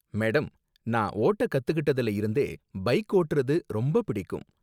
Madam, நான் ஓட்ட கத்துக்கிட்டதுல இருந்தே பைக் ஓட்டுறது ரொம்ப பிடிக்கும்.